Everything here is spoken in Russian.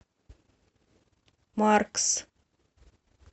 маркс